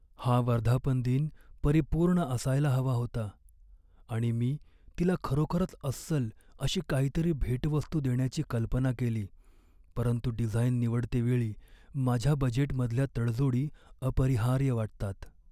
हा वर्धापनदिन परिपूर्ण असायला हवा होता आणि मी तिला खरोखरच अस्सल अशी काहीतरी भेटवस्तू देण्याची कल्पना केली. परंतु डिझाईन निवडतेवेळी माझ्या बजेटमधल्या तडजोडी अपरिहार्य वाटतात.